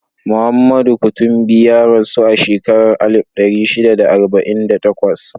Muhammadu Kutumbi ya rasu a shekarar alif ɗari shida da arba'in da takwas.